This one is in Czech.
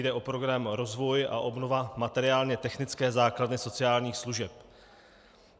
Jde o program rozvoj a obnova materiálně technické základny sociálních služeb.